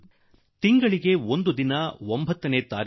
ನಾನಂತೂ ಪ್ರತಿ ತಿಂಗಳ 9ರಂದು ಒಂದು ದಿನ ಬಡ ತಾಯಂದಿರಿಗೆ ಈ ಸೇವೆಯನ್ನು